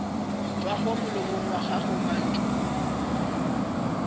tšwago molomong wa gago mantšu